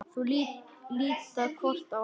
Þau líta hvort á annað.